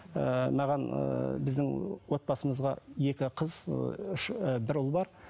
ыыы маған ыыы біздің отбасымызға екі қыз ы і бір ұл бар